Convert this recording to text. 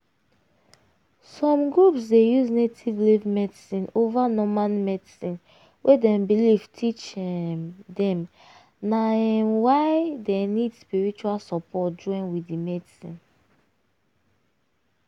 religion belief dey make some people wait before dem um go um hospital na native way dem um dey use first. dey use first.